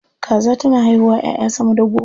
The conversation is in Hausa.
Kaza tana haihuwa 'ya'ya sama da goma.